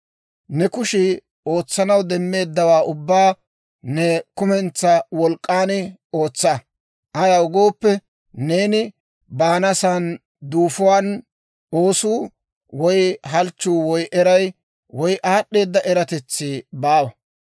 Ne kushii ootsanaw demmeeddawaa ubbaa ne kumentsaa wolk'k'an ootsa; ayaw gooppe, neeni baanasan duufuwaan oosuu, woy halchchuu, woy eray, woy aad'd'eeda eratetsi baawa.